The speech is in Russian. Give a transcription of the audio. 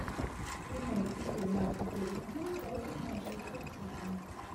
прямой эфир матча тоттенхэм против манчестер сити